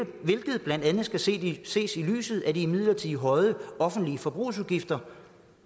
blandt andet skal ses i ses i lyset af de midlertidigt højere offentlige forbrugsudgifter